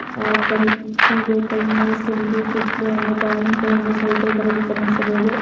Apple ಸೀಬೆಕಾಯಿ ಮೂಸಂಬಿ ಕಿತ್ಲೇಹಣ್ಣು ದಾಳಿಂಬೆ ಹಣ್ಣು ಸಹಿತ ಇದರಲ್ಲಿ ಗಮನಿಸಬಹುದು.